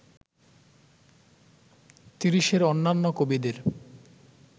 তিরিশের অন্যান্য কবিদের